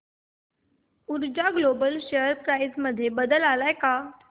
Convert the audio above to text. ऊर्जा global share price मध्ये बदल आलाय का